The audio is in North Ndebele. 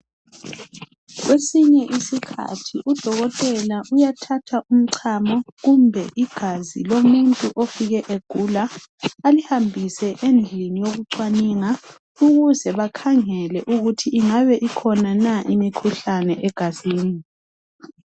Kwesinye isikhathi udokotela uyathatha umchamo kumbe igazi lomuntu ofike egula alihambise endlini yoku cwaninga ukuze bakhangele ukuthi ingabe ikhona na imikhuhlane egazini.